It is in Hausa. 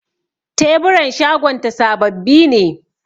Teburan shagonta sababbi ne.